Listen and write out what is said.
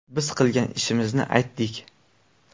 Biz qilgan ishimizni aytdik.